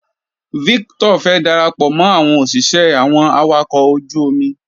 Victor fẹ́ darapọ̀ mọ́ àwọn òṣìṣẹ́ àwọn awakọ̀ ojú omi.